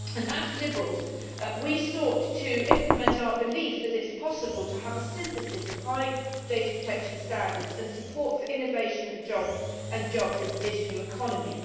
As Liberals, we sought to implement our belief that it is possible to have a synthesis of high data protection standards and support for innovation and jobs in the digital economy.